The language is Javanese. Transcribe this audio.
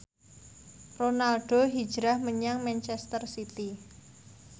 Ronaldo hijrah menyang manchester city